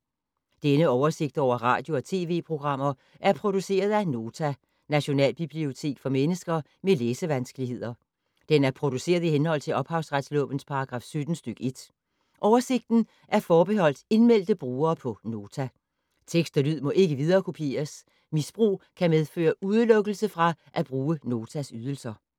Denne oversigt over radio og TV-programmer er produceret af Nota, Nationalbibliotek for mennesker med læsevanskeligheder. Den er produceret i henhold til ophavsretslovens paragraf 17 stk. 1. Oversigten er forbeholdt indmeldte brugere på Nota. Tekst og lyd må ikke viderekopieres. Misbrug kan medføre udelukkelse fra at bruge Notas ydelser.